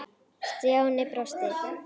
Stjáni brosti.